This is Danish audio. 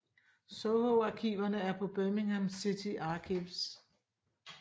Soho arkiverne er på Birmingham City Archives